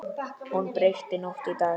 Hún breytti nótt í dag.